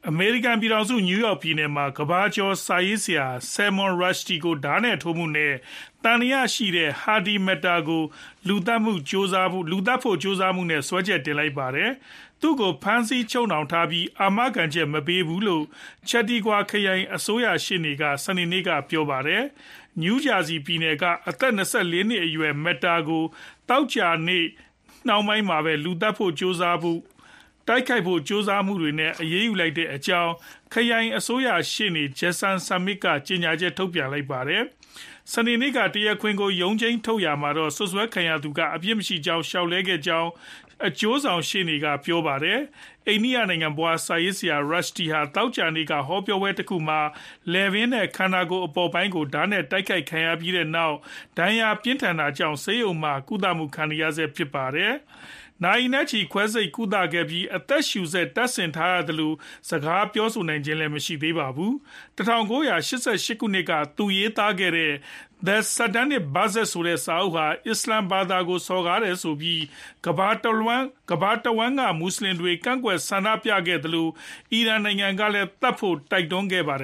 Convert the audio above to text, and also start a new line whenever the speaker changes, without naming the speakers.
အမေရိကန် ပြည်ထောင်စု နယူးယောက် ပြည်နယ်မှာ ကမ္ဘာကျော် စာရေးဆရာ Salman Rushdie ကို ဓားနဲ့ထိုးမှုနဲ့ သံသယရှိသူ Hadi Matar ကို လူသတ်ဖို့ ကြိုးစားမှုနဲ့ စွဲချက်တင်လိုက်ပါတယ်။ သူကို ဖမ်းဆီးချုပ်နှောင်ထားပြီး အာမခံ မပေးဘူးလို့ Chautauqua ခရိုင် အစိုးရရှေ့နေက စနေနေ့မှာ ပြောပါတယ်။ New Jersey ပြည်နယ်က အသက် ၂၄ နှစ်အရွယ် Matar ကို သောကြာနေ့ နှောင်းပိုင်းမှာပဲ လူသတ်ဖို့ ကြိုးစားမှု၊ တိုက်ခိုက်ဖို့ ကြိုးစားမှုတွေနဲ့ အရေးယူလိုက်ကြောင်း ဖမ်းဆီးခဲ့ကြောင်း ခရိုင်အစိုးရ ရှေ့နေ Jason Schmidt က ကြေညာချက် ထုတ်ပြန်ပါတယ်။ စနေနေ့က တရားခွင်ကို ရုံးထုတ်ချိန်မှာတော့ စွပ်စွဲခံရသူက အပြစ်မရှိကြောင်း လျှောက်လဲခဲ့ကြောင်း အကျိုးဆောင် ရှေ့နေက ပြောပါတယ်။ အိန္ဒိယနိုင်ငံဖွား စာရေးဆရာ Rushdie ဟာ သောကြာနေ့က ဟောပြောပွဲတခုမှာ လည်ပင်းနဲ့ ခန္ဓာကိုယ် အပေါ်ပိုင်းကို ဓားနဲ့ တိုက်ခိုက်ခံခဲ့ရပြီးနောက် ဒဏ်ရာပြင်းထန်တာကြောင့် ဆေးရုံမှာ ကုသမှု ခံယူနေရဆဲဖြစ်ပါတယ်။ နာရီနဲ့ချီ ခွဲစိတ်ကုသခဲ့ပြီး အသက်ရှုစက်တပ်ဆင်ထားရသလို၊ စကားပြောဆိုနိုင်ခြင်းမရှိသေးပါဘူး။ ၁၉၈၈ ခုနှစ်က သူရေးသားခဲ့တဲ့ The Satanic Verses ဆိုတဲ့ စာအုပ်ဟာ အစ္စလာမ်ဘာသာကို စော်ကားတယ်ဆိုပြီး ကမ္ဘာတဝှမ်းက မွတ်ဆလင်တွေ ကန့်ကွက်ဆန္ဒပြခဲ့သလို အီရန် ကလည်း သတ်ဖို့တိုက်တွန်းခဲ့တာပါ။